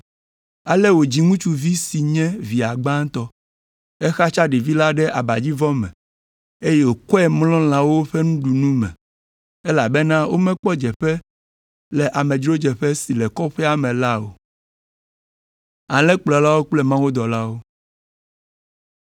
ale wòdzi ŋutsuvi si nye via gbãtɔ. Exatsa ɖevi la ɖe abadzivɔ me, eye wòkɔe mlɔ lãwo ƒe nuɖunu me, elabena womekpɔ dzeƒe le amedzrodzeƒe si le kɔƒea me la o.